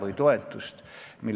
– eiravad neile tehtud ettekirjutusi.